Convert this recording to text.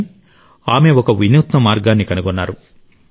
కానీ ఆమె ఒక వినూత్న మార్గాన్ని కనుగొన్నారు